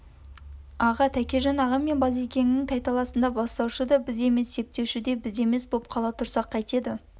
аға тәкежан ағам мен базекеңнің тайталасында бастаушы да біз емес септеуші де біз емес боп қала тұрсақ қайтеді